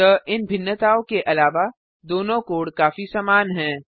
अतः इन भिन्नताओं के अलावा दोनों कोड काफी समान हैं